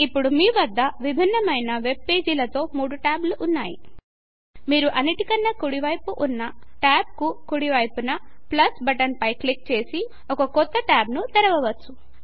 ఇప్పుడు మీ వద్ద భిన్నమైన వెబ్ పేజి ల తో 3 ట్యాబ్ లు ఉన్నాయి మీరు అన్నిటి కన్న కుడి వైపున ఉన్నట్యాబ్ కు కుడి వైపున ప్లస్ బటన్ పై క్లిక్ చేసి ఒక కొత్త ట్యాబ్ ను తెరవవచ్చు